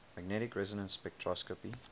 magnetic resonance spectroscopy